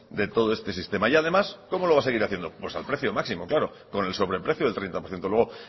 de todo este sistema y además cómo lo va a seguir haciendo pues al precio máximo claro con el sobreprecio del treinta por ciento luego